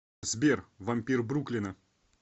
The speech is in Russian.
сбер вампир бруклина